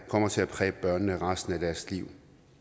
kommer til at præge børnene resten af deres liv